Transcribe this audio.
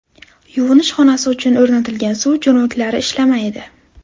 Yuvinish xonasi uchun o‘rnatilgan suv jo‘mraklari ishlamaydi.